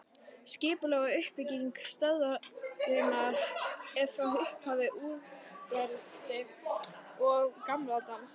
Skipulag og uppbygging stöðvarinnar er frá upphafi úrelt og gamaldags.